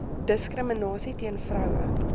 diskriminasie teen vroue